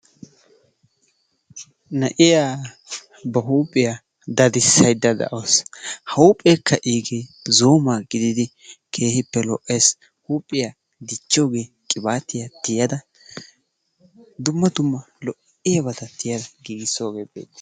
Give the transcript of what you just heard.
Na'iyaa bahuuphphiyaa dadissayda de'awus. Ha huuphpheekka igee zo'o malkke gidiidi keehippe lo"ees. Huuphphiyaa dichchogee qibaatiyaa tiyada dumma dumma lo"iyaabata tiiyada giigisoogee beettees.